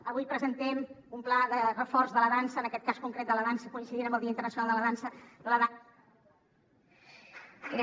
avui presentem un pla de reforç de la dansa en aquest cas concret de la dansa coincidint amb el dia internacional de la dansa la dan